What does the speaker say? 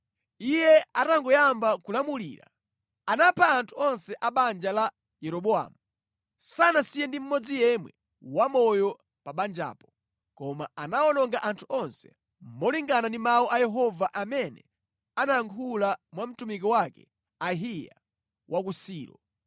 Iye atangoyamba kulamulira, anapha anthu onse a banja la Yeroboamu. Sanasiye ndi mmodzi yemwe wamoyo pa banjapo, koma anawononga anthu onse, molingana ndi mawu a Yehova amene anayankhula mwa mtumiki wake Ahiya wa ku Silo